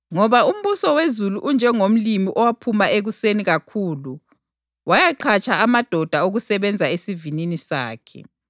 “Ngoba umbuso wezulu unjengomlimi owaphuma ekuseni kakhulu wayaqhatsha amadoda okusebenza esivinini sakhe.